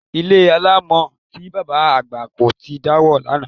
Ilé alámọ̀ tí bàbá àgbà kọ́ ti dàwó lánàá